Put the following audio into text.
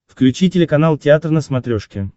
включи телеканал театр на смотрешке